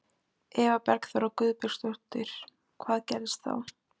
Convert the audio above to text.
Eva Bergþóra Guðbergsdóttir: Hvað gerðist þá?